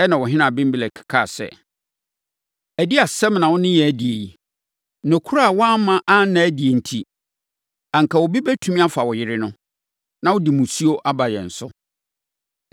Ɛnna ɔhene Abimelek kaa sɛ, “Ɛdeɛn asɛm na wo ne yɛn adi yi? Nokorɛ a woamma anna adi enti, anka obi bɛtumi afa wo yere no, na wode mmusuo aba yɛn so.”